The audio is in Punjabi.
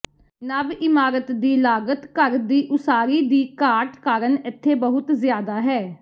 ਨਵ ਇਮਾਰਤ ਦੀ ਲਾਗਤ ਘਰ ਦੀ ਉਸਾਰੀ ਦੀ ਘਾਟ ਕਾਰਨ ਇੱਥੇ ਬਹੁਤ ਜ਼ਿਆਦਾ ਹੈ